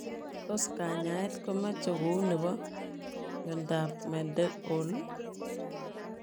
Tos kanyaet komechee kouy nepoo miondop Mendenhall?